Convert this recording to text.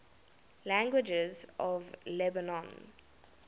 languages of lebanon